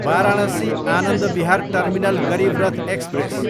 Varanasi, Anand Vihar terminal Garib Rath express